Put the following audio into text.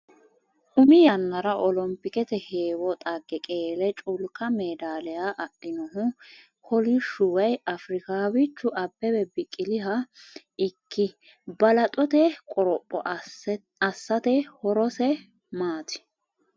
Umi yannara olompikete heewo dhagge qeele culku maadaaliya adhinohu kolishshu woy Afrikaaw ichu Abbbebe Biqiliha ikki, Balaxote qoropho assate horose maati?